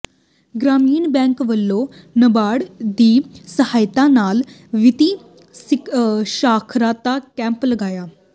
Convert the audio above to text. ਗ੍ਰਾਮੀਣ bank ਵਲੋਂ ਨਾਬਾਰਡ ਦੀ ਸਹਾਇਤਾ ਨਾਲ ਵਿੱਤੀ ਸਾਖ਼ਰਤਾ ਕੈਂਪ ਲਗਾਇਆ